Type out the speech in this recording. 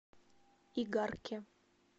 игарке